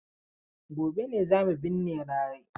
Gobe ne za mu binne Larai.